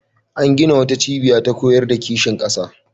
An gina wata cibiya ta koyar da kishin ƙasa.